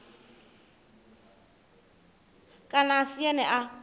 kana a si ene a